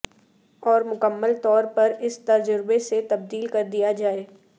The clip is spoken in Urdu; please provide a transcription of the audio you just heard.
اور مکمل طور پر اس تجربے سے تبدیل کر دیا جائے